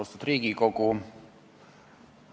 Austatud Riigikogu!